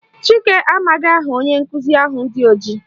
Chike amaghị aha onye nkụzi ahụ dị ojii